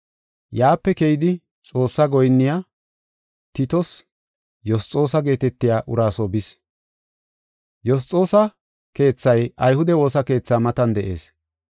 Yaape keyidi Xoossaa goyinniya Titos Yosxoosa geetetiya uraa soo bis. Yosxoosa keethay ayhude woosa keetha matan de7ees.